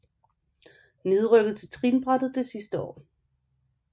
Nedrykket til trinbræt de sidste år